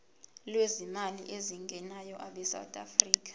lwezimali ezingenayo abesouth